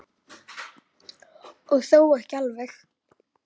Og þó ekki alveg.